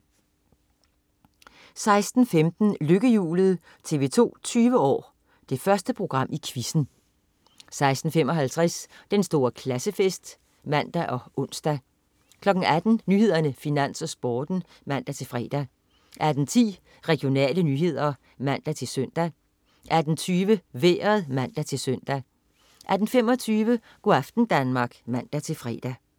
16.15 Lykkehjulet. TV 2 20 år: Det første program i quizzen 16.55 Den store klassefest (man og ons) 18.00 Nyhederne, Finans, Sporten (man-fre) 18.10 Regionale nyheder (man-søn) 18.20 Vejret (man-søn) 18.25 Go' aften Danmark (man-fre)